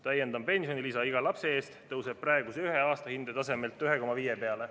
Täiendav pensionilisa iga lapse eest tõuseb praeguse ühe aastahinde tasemelt 1,5 peale.